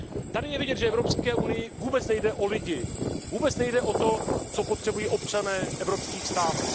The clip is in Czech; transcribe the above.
Tady je vidět, že Evropské unii vůbec nejde o lidi, vůbec nejde o to, co potřebují občané evropských států.